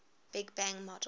big bang model